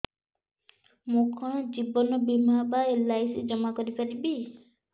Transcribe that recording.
ମୁ କଣ ଜୀବନ ବୀମା ବା ଏଲ୍.ଆଇ.ସି ଜମା କରି ପାରିବି